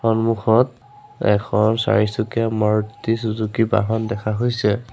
সন্মুখত এখন চাৰিচুকীয়া মাৰুটি চুজুকি বাহন দেখা হৈছে।